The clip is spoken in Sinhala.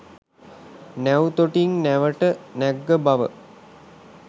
නැව් තොටින් නැවට නැග්ග බව